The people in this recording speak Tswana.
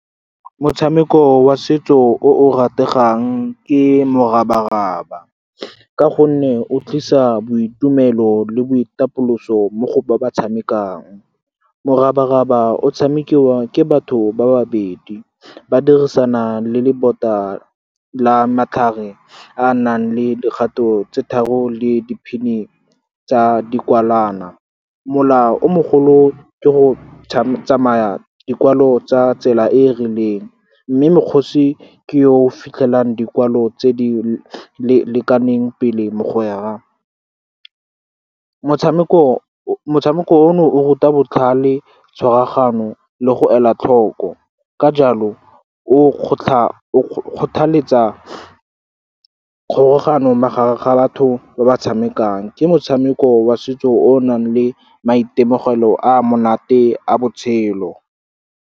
Motshameko wa setso o rategang ke morabaraba, ka gonne o tlisa boitumelo le boitapoloso mo go ba ba tshamekang. Morabaraba o tshamekiwa ke batho ba babedi, ba dirisana le lebota la matlhare a nang le dikgato tse tharo le diphini tsa dikwalana. Molao o mogolo ke go tsamaya dikwalo tsa tsela e e rileng, mme mokgosi ke yo o fitlhelang dikwalo tse di lekaneng pele mogwera. Motshameko ono o ruta botlhale, tshwaragano le go ela tlhoko. Ka jalo, o kgothaletsa tlhobogano magareng ga batho ba ba tshamekang. Ke motshameko wa setso o nang le maitemogelo a monate a botshelo.